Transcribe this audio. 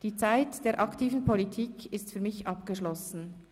Die Zeit der aktiven Politik ist für mich abgeschlossen.